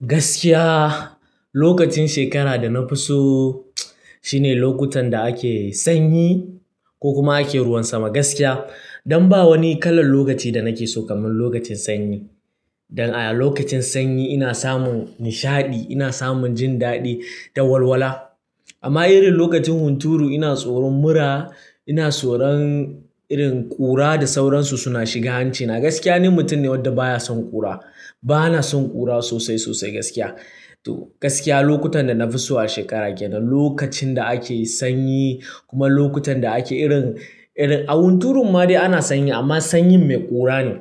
Gaskiya lokacin shekara da na fi so shine lokutan da ake sanyi ko kuma ake ruwan sama. Gaskiya dan ba wani kalan lokaci da nake so kamar lokacin sanyi. Dan a lokacin sanyi ina samun nishadi, ina samun jin daɗi da walwala. Amma irin lokacin hunturu ina tsoron mura, ina tsoron ƙura da sauransu suna shiga hanci. A gaskiya ni mutum ne wadda baya son ƙura. Bana son ƙura sosai sosai gaskiya. Gaskiya lokutan da na fi so a shekara ke nan lokacin da ake sanyi kuma lokutan da ake irin, a hunturun ma dai ana sanyi amma sanyi mai ƙura ne.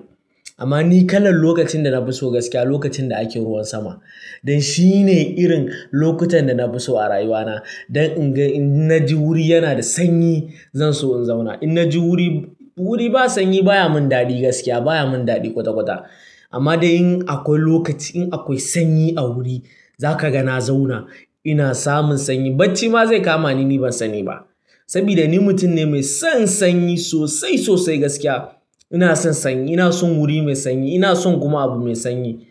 Amma ni kalan lokacin da na fi so gaskiya lokacin da ake ruwan sama. Dan shi ne irin lokutan da na fi so a rayuwana. Dan in ga in na ji wuri yana da sanyi zan so in zauna. In na ji wuri, wuri ba sanyi baya mun daɗi gaskiya baya mun daɗi kwata kwata. Amma dai in akwai lokaci in akwai sanyi a wuri za ka ga na zauna. Ina samun sanyi bacci ma zai kama ni ni ban sani ba. Saboda ni mutum ne mai son sanyi sosai sosai gaskiya. Ina son sanyi, ina son wuri mai sanyi, ina son kuma abu mai sanyi.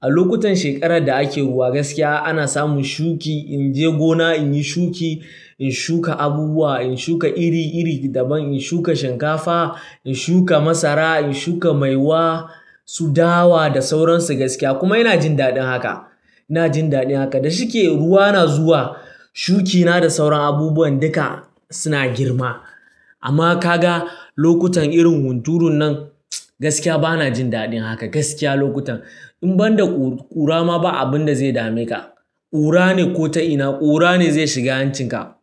A lokutan shekarar da ake ruwa gaskiya ana samun shuki. In je gona in yi shuki, in shuka abubuwa, in shuka iri iri daban, in shuka shinkafa, in shuka masara, in shuka maiwa, su dawa da sauransu gaskiya kuma ina jin daɗin haka. Ina jin daɗin haka. Da shike ruwa na zuwa shuki na da sauran abubuwan duka suna girma. Amma ka ga lokutan irin hunturun nan gaskiya bana jin daɗin haka gaskiya lokutan. In banda ƙura ma ba abin da zai dame ka. Ƙura ne ko ta ina ƙura ne zai shiga hancin ka.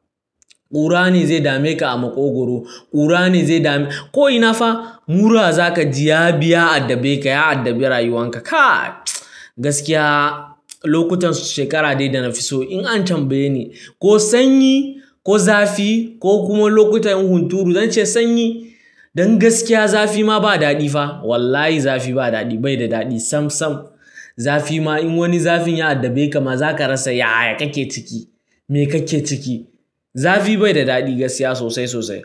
Ƙura ne zai dame ka a maƙogwaro, ƙura ne zai dame. Ko ina fa mura za ka ji ya biya addabe ka, ya addabi rayuwan ka. Kai! Gaskiya lokutan shekara dai da na fi so in an tambaye ni ko sanyi ko zafi ko kuma lokutan hunturu zance sanyi. Dan gaskiya zafi ma ba daɗi fa. Wallahi zafi ba daɗi, bai da daɗi sam sam. Zafi ma in wani zafin ya addabe ka ma za ka rasa ya ya kake ciki. Me kake ciki? Zafi bai da daɗi gaskiya sosai sosai.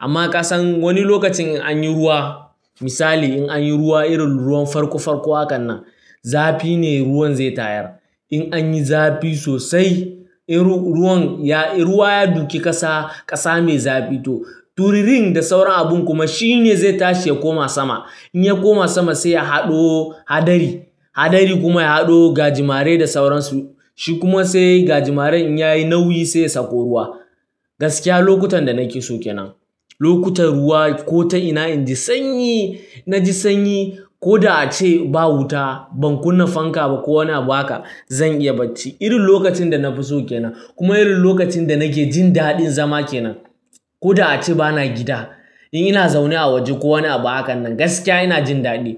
Amma ka san wani lokacin in anyi ruwa misali in anyi ruwa irin ruwan farko farko hakan nan zafi ne ruwan zai tayar. In anyi zafi sosai ruwan ya, ruwa ya duki ƙasa ƙasa mai zafi to turirin da sauran abun kuma shi ne zai tashi ya koma sama. In ya koma sama sai ya haɗo haɗari, haɗari kuma ya haɗo gajimare da sauransu. Shi kuma sai gajimaren in yayi nauyi sai ya sako ruwa. Gaskiya lokutan da nake so ke nan. Lokutan ruwa ko ta ina inji sanyi na ji sanyi ko da ace ba wuta, ban kunna fanka ba ko wani abu haka zan iya bacci. Irin lokacin da na fi so ke nan kuma irin lokacin da nake jin daɗin zama ke nan. Ko da ace bana gida in ina zaune a waje ko wani abu hakan nan gaskiya ina jin daɗi.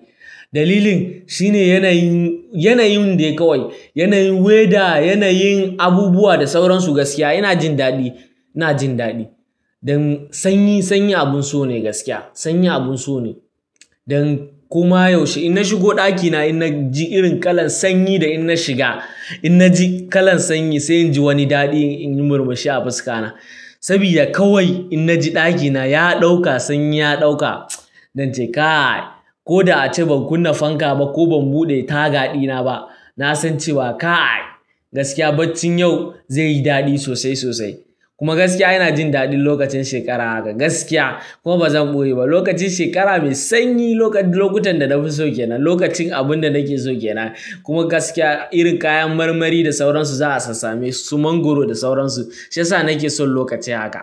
Dalilin shi ne yanayin, yanayin dai kawai. Yanayin weather, yanayin abubuwa da sauransu gaskiya ina jin daɗi, ina jin daɗi. Dan sanyi, sanyi abun so ne gaskiya. Sanyi abun so ne. Dan kuma yaushe ina shigo ɗakina ina ji irin kalan sanyi da ina shiga ina ji kalan sanyi sai inji wani daɗi in yi murmushi a fuska na. Saboda kawai ina ji ɗakina ya ɗauka sanyi ya ɗauka, nance kai! Ko da ace ban kunna fanka ba ko ban buɗe taga ɗina ba na san cewa ka! Gaskiya baccin yau zai yi daɗi sosai sosai. Kuma gaskiya ina jin daɗin lokacin shekara haka gaskiya kuma bazan boye ba. Lokacin shekara mai sanyi lokutan da na fi so ke nan, lokacin abun da nake so ke nan. Kuma gaskiya irin kayan marmari da sauransu za a sassamesu su mangwaro da sauransu shiyasa nake son lokaci haka.